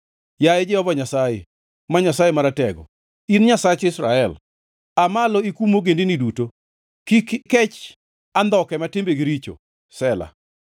Yaye Jehova Nyasaye, ma Nyasaye Maratego, in Nyasach Israel, aa malo ikum ogendini duto; kik ikech andhoke ma timbegi richo. Sela